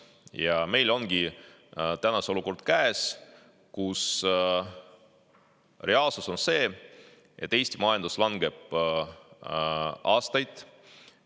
Ja meil ongi käes olukord, kus reaalsus on see, et Eesti majandus langeb juba aastaid.